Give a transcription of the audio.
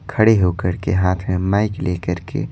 खड़े होकर के हाथ में माइक लेकर के--